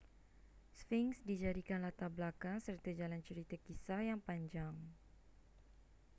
sphinx dijadikan latar belakang serta jalan cerita kisah yang panjang